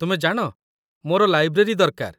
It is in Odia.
ତୁମେ ଜାଣ, ମୋର ଲାଇବ୍ରେରୀ ଦରକାର।